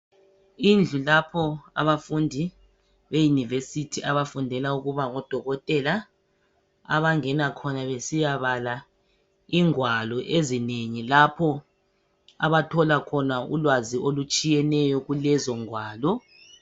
Indlu lapho abafundi eyunivesithi abafundela ukuba ngodokotela abangena khona besiyabala ingwalo ezinengi lapho abathola khona ulwazi olutshiyeneyo kulezongwalo.